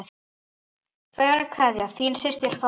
Kær kveðja, þín systir Þórey.